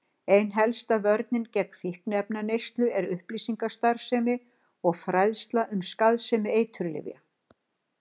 Ein helsta vörnin gegn fíkniefnaneyslu er upplýsingastarfsemi og fræðsla um skaðsemi eiturlyfja.